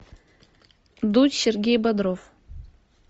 дудь сергей бодров